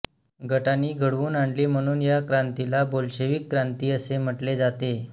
गटानी घडवून आणली म्हणून या क्रांतीला बोल्शेविक क्रांती असे म्हटले जाते